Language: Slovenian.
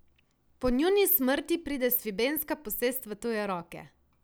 Po njuni smrti pride svibenska posest v tuje roke.